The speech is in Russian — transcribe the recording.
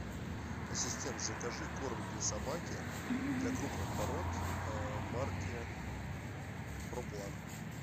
ассистент закажи корм для собаки для крупных пород марки про план